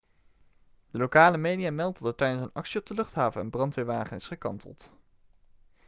de lokale media meldt dat er tijdens een actie op de luchthaven een brandweerwagen is gekanteld